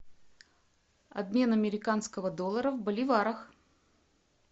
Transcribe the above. обмен американского доллара в боливарах